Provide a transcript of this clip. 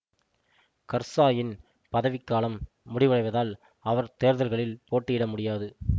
கர்சாயின் பதவிக்காலம் முடிவடைவதால் அவர் தேர்தல்களில் போட்டியிட முடியாது